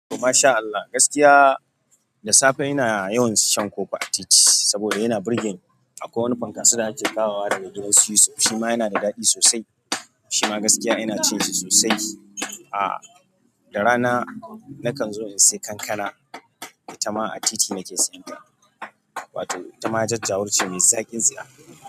MashAllah gaskiya, da safe ina yawan shan ƙofa a titi saboda yana burge ni. Akwai wani fankaso da ake kawowa daga gidan su Yusuf shima yana da daɗi sosai. Shima gaskiya ina cin shi sosai. Aa, da rana na kanzo in sai kankana, itama a titi na ke sayenta. Wato itama jajjawur ce mai zaƙin tsiya.